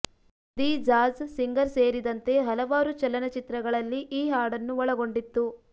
the Jazz Singer ಸೇರಿದಂತೆ ಹಲವಾರು ಚಲನಚಿತ್ರಗಳಲ್ಲಿ ಈ ಹಾಡನ್ನು ಒಳಗೊಂಡಿತ್ತು